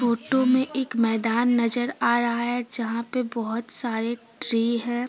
Photo में एक मैदान नजर आ रहा है जहां पे बहुत सारे ट्री है ।